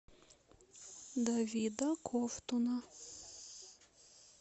давида ковтуна